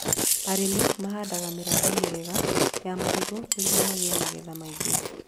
Arĩmi mahandaga mĩramba mĩega ya marigũ nĩguo magĩe magetha maingĩ